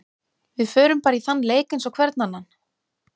Við förum bara í þann leik eins og hvern annan.